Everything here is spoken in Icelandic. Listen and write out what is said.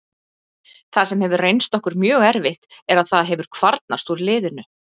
Það sem hefur reynst okkur mjög erfitt er að það hefur kvarnast úr liðinu.